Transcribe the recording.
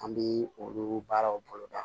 An bɛ olu baaraw bolo da